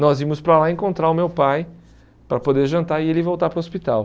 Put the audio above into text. Nós íamos para lá encontrar o meu pai para poder jantar e ele voltar para o hospital.